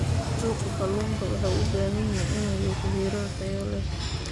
Suuqa kalluunka waxa uu u baahan yahay in uu yeesho heerar tayo leh.